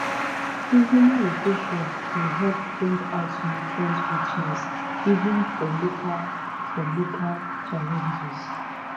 seasonal rotation dey help bring out nutrient richness even for local for local challenges."